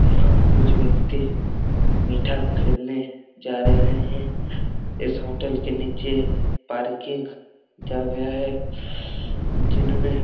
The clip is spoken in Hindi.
यहाँ कुछ व्यक्ति मिठा खरीदने जा रहे है इस होटल के नीचे पार्किंग जगह है जिनमे--